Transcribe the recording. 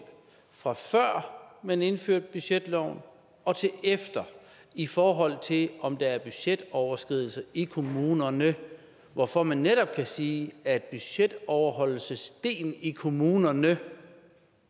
fra før man indførte budgetloven og til efter i forhold til om der er budgetoverskridelser i kommunerne hvorfor man netop kan sige at budgetoverholdelsesdelen i kommunerne